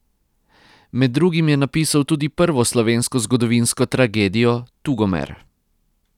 Med drugim je napisal tudi prvo slovensko zgodovinsko tragedijo Tugomer.